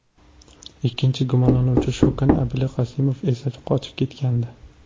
Ikkinchi gumonlanuvchi Shokan Abilqasimov esa qochib ketgandi.